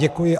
Děkuji.